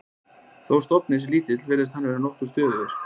Þó stofninn sé lítill virðist hann vera nokkuð stöðugur.